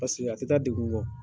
a tɛ taa degun kɔ.